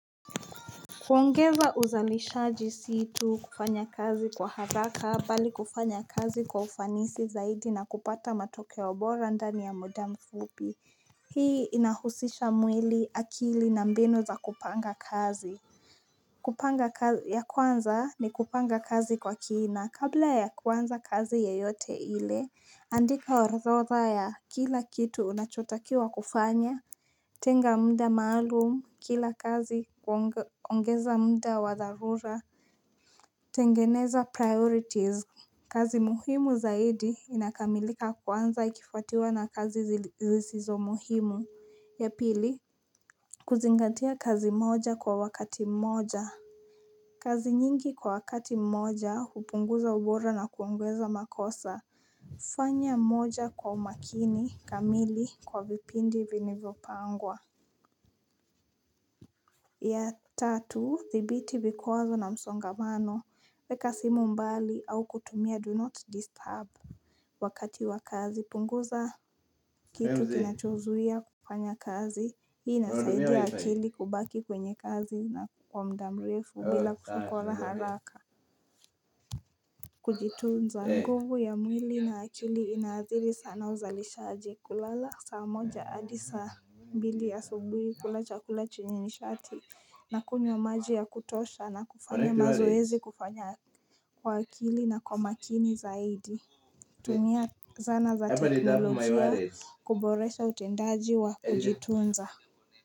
Kuongeza uzalishaji si tu kufanya kazi kwa haraka mbali kufanya kazi kwa ufanisi zaidi na kupata matokeo bora ndani ya muda mfupi Hii inahusisha mwili akili na mbinu za kupanga kazi kupanga ya kwanza ni kupanga kazi kwa kina kabla ya kuanza kazi yeyote ile andika orodha ya kila kitu unachotakiwa kufanya Tenga muda maalumu kila kazi ongeza muda wa dharura tengeneza priorities kazi muhimu zaidi inakamilika kwanza ikifuatiwa na kazi zisizo muhimu ya pili kuzingatia kazi moja kwa wakati mmoja kazi nyingi kwa wakati mmoja hupunguza ubora na kuongeza makosa fanya moja kwa makini kamili kwa vipindi vilivopangwa ya tatu thibiti vikwazo na msongamano Weka simu mbali au kutumia do not disturb Wakati wa kazi punguza kitu kinachozuia kufanya kazi Hii nasaidia akili kubaki kwenye kazi na kwa muda mrefu bila haraka Kujitunza nguvu ya mwili na akili inaadhiri sana uzalisha aje kulala saa moja hadi saa mbili asubuhi kula chakula chenye nishati na kunywa maji ya kutosha na kufanya mazoezi kufanya kwa akili na kwa makini zaidi tumia zana za teknolojia kuboresha utendaji wa kujitunza.